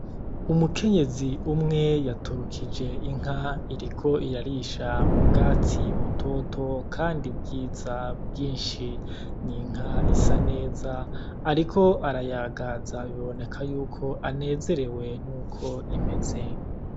Umukenyezi umwe yaturukije inka iriko irarisha mubwatsi butoto kandi bwiza bwinshi ni inka isa neza ariko arayagaza biboneka yuko anezerewe nuko imeze.